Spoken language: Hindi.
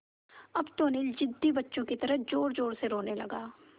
अब तो अनिल ज़िद्दी बच्चों की तरह ज़ोरज़ोर से रोने लगा